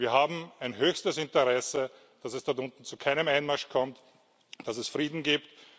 Wir haben ein höchstes Interesse, dass es dort unten zu keinem Einmarsch kommt, dass es Frieden gibt.